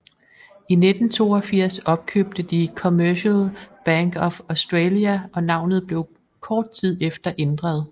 I 1982 opkøbte de Commercial Bank of Australia og navnet blev kort tid efter ændret